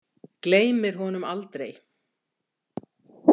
Gleymir honum aldrei.